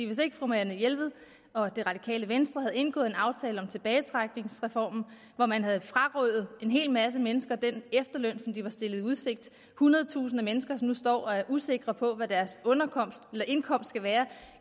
hvis ikke fru marianne jelved og det radikale venstre havde indgået en aftale om tilbagetrækningsreformen hvor man har frarøvet en hel masse mennesker den efterløn som de var stillet i udsigt det hundrede tusinde af mennesker som nu står og er usikre på hvad deres indkomst vil være